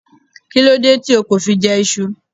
Why didn't you eat Yam?